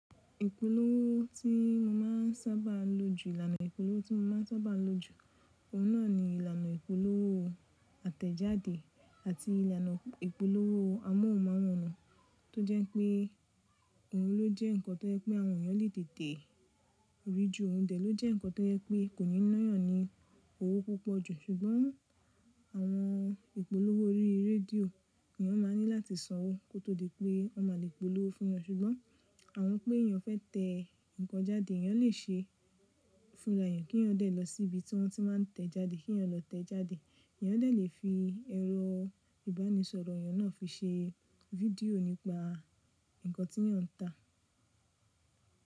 Ìpolówó tí mo má ń sáábà lò jù, ìlànà ìpolówó tí mo má ń sáábà lò jù, òun náà ni ìlànà ìpolówó àtẹ̀jáde àti ìlànà ìpolówó amóhùnmáwòrán tó jẹ́ pé òun ló jẹ́ nǹkan tó yẹ pé àwọn èèyàn lè tètè rí ju ohùn tẹ̀ ló jẹ́ nǹkan tó yẹ pé kò ní náyàn ní owó púpọ̀ jù. Ṣùgbọ́n àwọn ìpolówó orí rédíò, èèyàn máa ní láti sanwó kó tó di pé wọ́n má lè polówó fún wọn. Ṣùgbọ́n àwọn pé èèyàn fẹ́ tẹ nǹkan jáde, èèyàn lè ṣe fún èèyàn kí èèyàn lè lọ sí ibi tí wọ́n ti máa ń tẹ̀ jáde kí èèyàn lọ tẹ́ jáde. Èèyàn lè fi ẹ̀rọ ìbánisọ̀rọ̀ èèyàn náà fi ṣe video nípa nǹkan tí èèyàn ń tà.